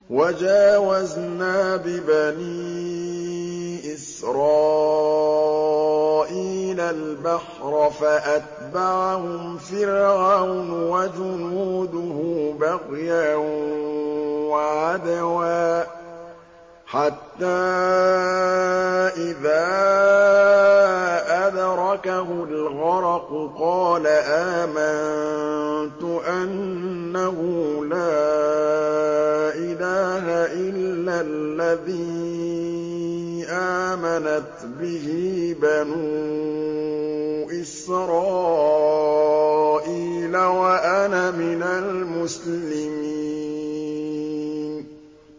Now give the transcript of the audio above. ۞ وَجَاوَزْنَا بِبَنِي إِسْرَائِيلَ الْبَحْرَ فَأَتْبَعَهُمْ فِرْعَوْنُ وَجُنُودُهُ بَغْيًا وَعَدْوًا ۖ حَتَّىٰ إِذَا أَدْرَكَهُ الْغَرَقُ قَالَ آمَنتُ أَنَّهُ لَا إِلَٰهَ إِلَّا الَّذِي آمَنَتْ بِهِ بَنُو إِسْرَائِيلَ وَأَنَا مِنَ الْمُسْلِمِينَ